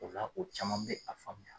O la o caman bɛ a faamuya.